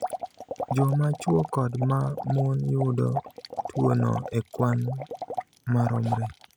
Joma chwo kod ma mon yudo tuwono e kwan maromre.